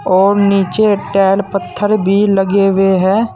और नीचे टैल पत्थर भी लगे हुए हैं।